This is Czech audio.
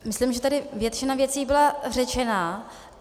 Myslím, že tady většina věcí byla řečena.